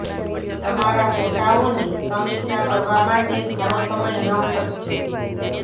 તમારા ફોટાઓની સમીક્ષા કરવા માટે ઘણો સમય ન ખર્ચો